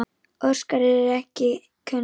Orsakir eru ekki kunnar.